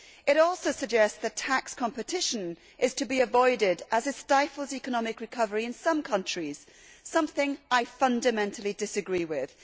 It also suggests that tax competition is to be avoided as it stifles economic recovery in some countries, something I fundamentally disagree with.